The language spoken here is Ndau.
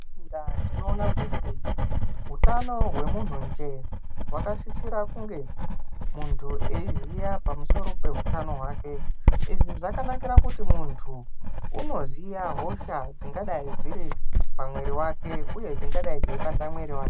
Tinoona kuti utano hwemunhu njee hwakasisira kunge muntu eyiziya pamusoro pehutano hwake. Izvi zvakanakira kuti muntu unoziya hosha dzingadai dziri pamwiri wake uye dzingadai dzeibata mwiri wake.